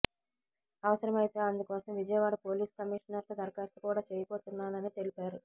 అవసరమైతే అందుకోసం విజయవాడ పోలీస్ కమీషనర్కు దరఖాస్తు కూడా చేయబోతున్నానని తెలిపారు